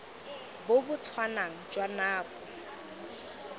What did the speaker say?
bo bo tshwanang jwa nako